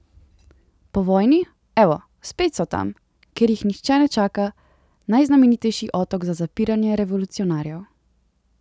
Po vojni, evo, spet so tam, kjer jih nihče ne čaka, najznamenitejši otok za zapiranje revolucionarjev.